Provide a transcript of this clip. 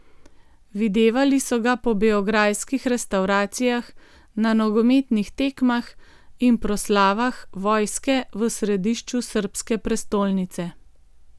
Videvali so ga po beograjskih restavracijah, na nogometnih tekmah in proslavah vojske v središču srbske prestolnice.